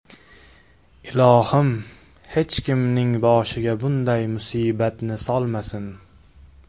Ilohim, hech kimni boshiga bunday musibatni solmasin.